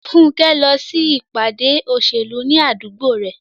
Funke lọ sí ìpàdé òṣèlú ní àdúgbò rẹ̀.